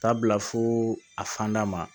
Taa bila fo a fanda ma